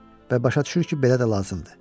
Və başa düşür ki, belə də lazımdır.